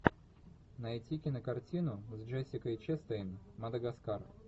найти кинокартину с джессикой честейн мадагаскар